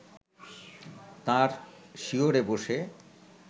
তাঁর শিয়রে বসে